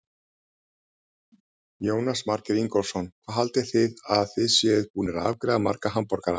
Jónas Margeir Ingólfsson: Hvað haldið þið að þið séuð búin að afgreiða marga hamborgara?